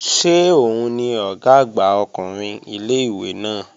Ṣé òun ni Ọ̀gá àgbà ọkùnrin ilé-ìwé náà?